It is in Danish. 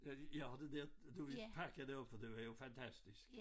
Øh jeg har det der du ville pakke det op for det var jo fantastisk